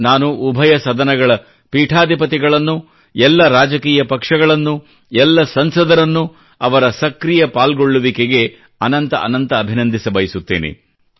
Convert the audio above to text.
ನಾನು ಉಭಯ ಸದನಗಳ ಪೀಠಾಧಿಪತಿಗಳನ್ನು ಎಲ್ಲ ರಾಜಕೀಯ ಪಕ್ಷಗಳನ್ನು ಎಲ್ಲ ಸಂಸದರನ್ನು ಅವರ ಸಕ್ರೀಯ ಪಾಲ್ಗೊಳ್ಳುವಿಕೆಗೆ ಅನಂತ ಅಭಿನಂದಿಸಬಯಸುತ್ತೇನೆ